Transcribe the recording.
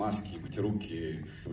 маски и мыть руки